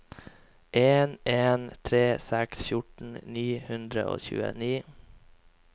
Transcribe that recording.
en en tre seks fjorten ni hundre og tjueni